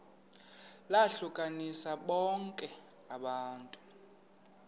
lohlukanise bonke abantu